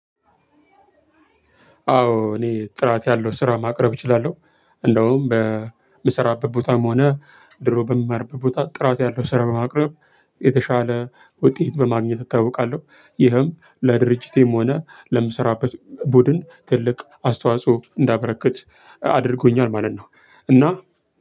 አዎ እኔ ጥራት ያለው ስራ ማቅረብ እችላለሁ እንደውም በምሰራበት ቦታም ሆነ ድሮ በምማርበት ቦታ ጥራት ያለው ስራ በማቅረብ የተሻለ ውጤት በማግኘት እታወቃለሁ። ይህም ለድርጅቴም ሆነ ለምሰራበት ቡድን ትልቅ አስተዋጽኦ እንዳበረከት አድርጎኛል ማለት ነው። እና